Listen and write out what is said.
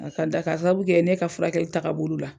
A ka da ka sababu kɛ ne ka furakɛli ta ka bolo la.